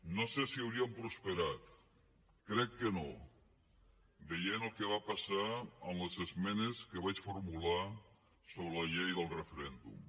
no sé si haurien prosperat crec que no veient el que va passar amb les esmenes que vaig formular sobre la llei del referèndum